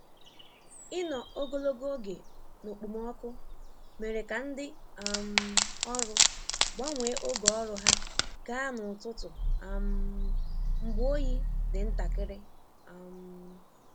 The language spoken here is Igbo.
Ịnọ ogologo oge n'okpomọkụ mere ka ndị um ọrụ gbanwee oge ọrụ ha gaa n'ụtụtụ um mgbe oyi dị ntakịrị. um